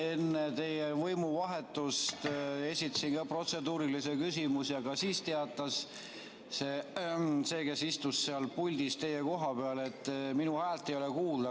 Ma enne teie võimuvahetust esitasin ka protseduurilisi küsimusi, aga siis teatas see, kes istus seal puldis teie koha peal, et minu häält ei ole kuulda.